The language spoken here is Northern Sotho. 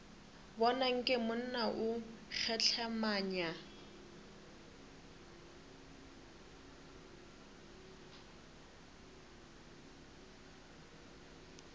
bona nke monna o kgehlemanya